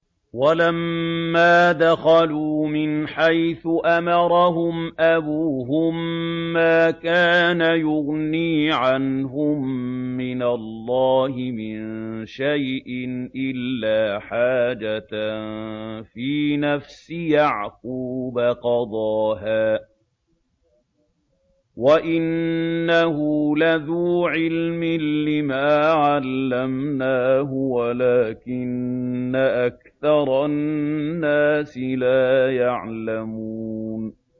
وَلَمَّا دَخَلُوا مِنْ حَيْثُ أَمَرَهُمْ أَبُوهُم مَّا كَانَ يُغْنِي عَنْهُم مِّنَ اللَّهِ مِن شَيْءٍ إِلَّا حَاجَةً فِي نَفْسِ يَعْقُوبَ قَضَاهَا ۚ وَإِنَّهُ لَذُو عِلْمٍ لِّمَا عَلَّمْنَاهُ وَلَٰكِنَّ أَكْثَرَ النَّاسِ لَا يَعْلَمُونَ